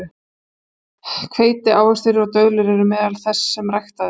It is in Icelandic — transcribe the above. Hveiti, ávextir og döðlur eru meðal þess sem ræktað er.